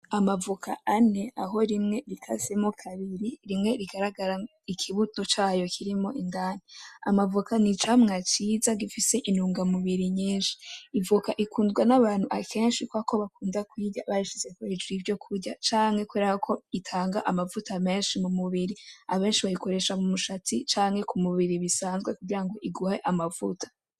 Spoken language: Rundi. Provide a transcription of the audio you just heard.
Amavoka ane aho rimwe rikasemwo kabiri rimwe rigaragara ikibuto cayo kirimwo indani. Amavoka ni icamwa cyiza gifise intungamubiri nyinshi. Ivoka ikundwa n’abantu akenshi kubera ko bakunda kuyirya bayishize hejuru y'ibindi vyokurya canke kubera ko itanga amavuta menshi mu mubiri. Abenshi bayikoresha mu mushatsi canke ku mubiri bisanzwe kugira ngo iguhe amavuta.